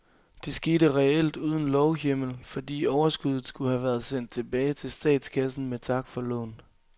Det skete reelt uden lovhjemmel, fordi overskuddet skulle have været sendt tilbage til statskassen med tak for lån.